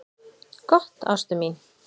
"""Gott, ástin mín."""